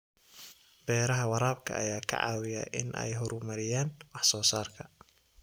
Beeraha waraabka ayaa ka caawiya in ay horumariyaan wax soo saarka.